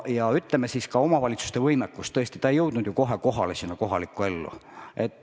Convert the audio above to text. Ja ütleme siis ka omavalitsuste võimekus, tõesti, see ei jõudnud ju kohe sinna kohalikku ellu kohale.